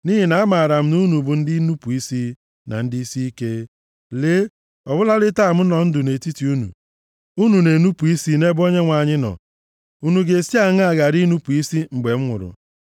Nʼihi na amaara m na unu bụ ndị nnupu isi, na ndị isiike. Lee, ọ bụladị taa m nọ ndụ nʼetiti unu, unu na-enupu isi nʼebe Onyenwe anyị nọ, unu ga-esi aṅaa ghara inupu isi mgbe m nwụrụ?